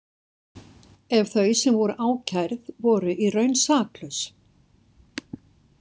Ef þau sem voru ákærð voru í raun saklaus.